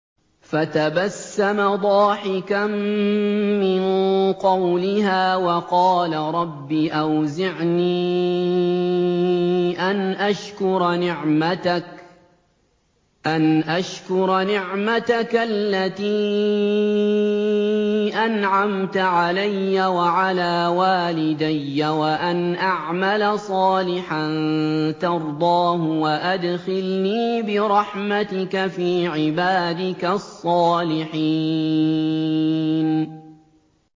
فَتَبَسَّمَ ضَاحِكًا مِّن قَوْلِهَا وَقَالَ رَبِّ أَوْزِعْنِي أَنْ أَشْكُرَ نِعْمَتَكَ الَّتِي أَنْعَمْتَ عَلَيَّ وَعَلَىٰ وَالِدَيَّ وَأَنْ أَعْمَلَ صَالِحًا تَرْضَاهُ وَأَدْخِلْنِي بِرَحْمَتِكَ فِي عِبَادِكَ الصَّالِحِينَ